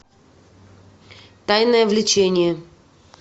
тайное влечение